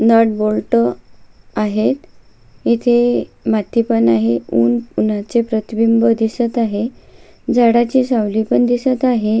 Nut bolt आहेत इथे माती पण आहे ऊन उन्हाचे प्रतिबिंब दिसत आहे झाडाची सावली पण दिसत आहे.